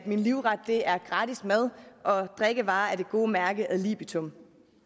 min livret er gratis mad og drikkevarer af det gode mærke ad libitum